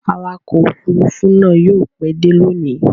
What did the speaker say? Awakọ̀ òfurufú náà yóò pẹ́ dé lónìí.